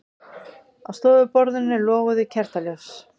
Á stofuborðinu loguðu kertaljós.